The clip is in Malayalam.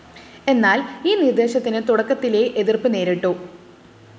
എന്നാല്‍ ഈ നിര്‍ദ്ദേശത്തിന് തുടക്കത്തിലേ എതിര്‍പ്പ് നേരിട്ടു